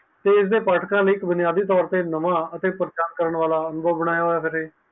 ਇਸ ਆ ਪਟਕਾ ਲਈ ਬੁਨਿਆਦੀ ਤੋਰ ਤੇ ਨਾਵੈ ਤੇ ਪ੍ਰਚਿਤ ਕਰਨ ਵਾਲਾ ਨਾਵੈ ਬਨਾਯਾ ਹੈ